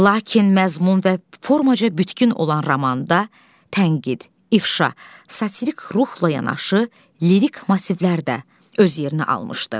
Lakin məzmun və formaca bütkün olan romanda tənqid, ifşa, satirik ruhla yanaşı, lirik massivlər də öz yerini almışdı.